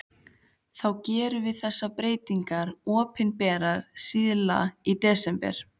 Þá gerum við þessar breytingar opinberar síðla í desember.